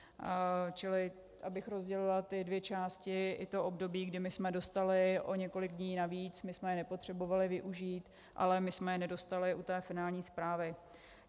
Čili abych rozdělila ty dvě části, i to období, kdy my jsme dostali o několik dní navíc, my jsme je nepotřebovali využít, ale my jsme je nedostali u té finální zprávy.